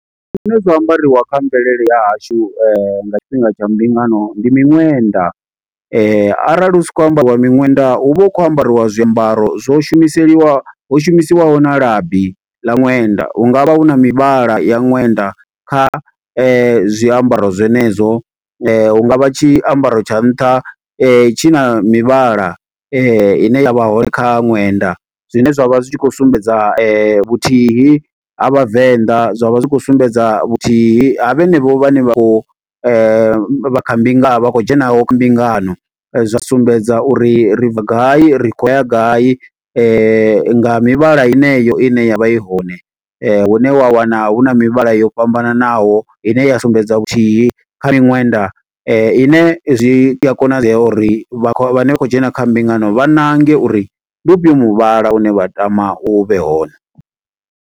Zwine zwa ambariwa kha mvelele ya hashu nga tshifhinga tsha mbingano, ndi miṅwenda. Arali hu sa khou ambariwa miṅwenda, hu vha hu khou ambariwa zwiambaro. Zwo shumiseliwa, ho shumisiwaho na labi ḽa ṅwenda, hungavha hu na mivhala ya ṅwenda kha zwiambaro zwenezwo. Hunga vha tshiambaro tsha nṱha, tshi na mivhala ine yavha hone kha ṅwenda. Zwine zwa vha zwi tshi khou sumbedza vhuthihi ha Vhavenḓa, zwa vha zwi khou sumbedza vhuthihi ha vhenevho vhane vha khou vha kha mbingano. Vha khou dzhenaho mbingano, zwa sumbedza uri ri bva gai ri khou ya gai, nga mivhala yeneyo ine ya vha i hone. Hune wa wana, hu na mivhala yo fhambananaho ine ya sumbedza vhuthihi kha miṅwenda. Ine zwi a konadzea uri vha khou, vha ne vha khou dzhena kha mbingano vha ṋange uri, ndi ufhio muvhala une vha tama u vhe hone.